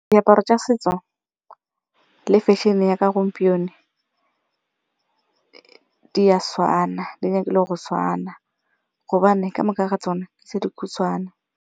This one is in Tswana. Diaparo tsa setso le fashion-e ya ka gompieno di a tshwana, di batlile go tshwana gobane kamoka ga tsona di dikhutshwane.